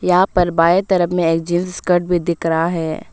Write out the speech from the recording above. यहां पर बाएं तरफ में एक जींस स्कर्ट भी दिख रहा है।